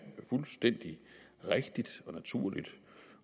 fuldstændig rigtigt og naturligt